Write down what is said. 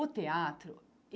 O teatro?